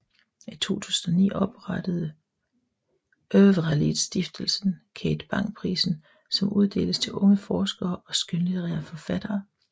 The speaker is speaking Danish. I 2009 oprettede Övralidstiftelsen Kate Bang prisen som uddeles til unge forskere og skønlitterære forfattere